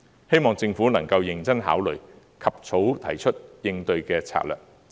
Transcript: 希望政府能夠認真考慮，及早提出應對的策略。